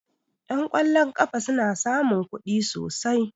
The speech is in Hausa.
Ƴan ƙwallon ƙafa suna samun kuɗi sosai